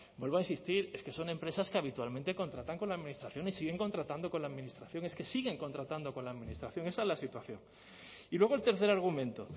vuelvo a insistir es que son empresas que habitualmente contratan con la administración y siguen contratando con la administración es que siguen contratando con la administración esa es la situación y luego el tercer argumento